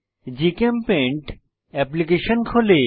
GChemPaint application খোলে